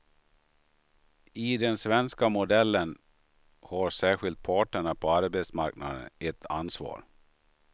I den svenska modellen har särskilt parterna på arbetsmarknaden ett ansvar.